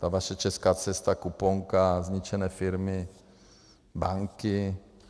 Ta vaše česká cesta, kuponka, zničené firmy, banky?